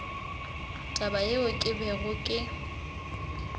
taba yeo ke bego ke